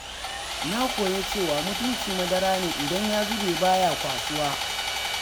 Na koya cewa mutunci madara ne idan ya zube baya kwasuwa.